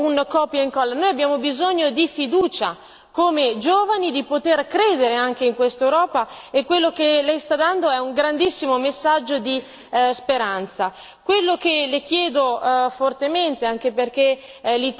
Noi non abbiamo bisogno di avere un copia incolla, noi giovani abbiamo bisogno di fiducia, di poter credere anche in quest'Europa e quello che lei sta dando è un grandissimo messaggio di speranza.